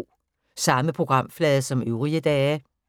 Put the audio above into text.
Samme programflade som øvrige dage